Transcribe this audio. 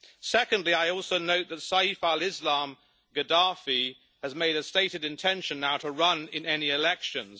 Secondly, I also note that Saif al Islam Gaddafi has made a stated intention now to run in any elections.